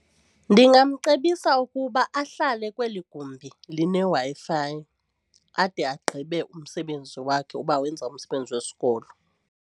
Ndingamcebisa ukuba ahlale kweli gumbi lineWi-Fi ade agqibe umsebenzi wakhe uba wenza umsebenzi wesikolo.